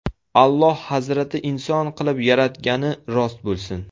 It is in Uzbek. Alloh Hazrati inson qilib yaratgani rost bo‘lsin.